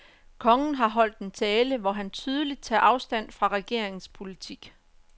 Kongen har holdt en tale, hvor han tydeligt tager afstand fra regeringens politik.